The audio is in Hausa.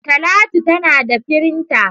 Talatu ta nada firinta.